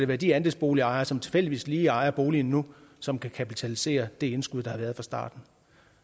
være de andelsbolighavere som tilfældigvis lige ejer boligen nu som kan kapitalisere det indskud der har været fra starten